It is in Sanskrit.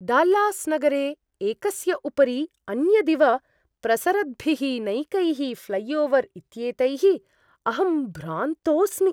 डाल्लास् नगरे एकस्य उपरि अन्यदिव प्रसरद्भिः नैकैः ऴ्लैओवर् इत्येतैः अहं भ्रान्तोस्मि।